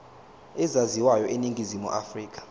ezaziwayo eningizimu afrika